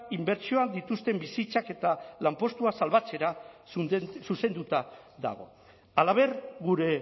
inbertsioak dituzten bizitzak eta lanpostua salbatzera zuzenduta dago halaber gure